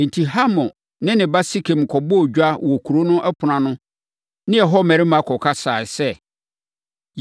Enti, Hamor ne ne ba Sekem kɔbɔɔ dwa wɔ kuro no ɛpono ano ne ɛhɔ mmarima kɔkasaeɛ sɛ,